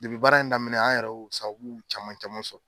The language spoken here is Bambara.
baara in daminɛ an yɛrɛ y'o sababu caman caman sɔrɔ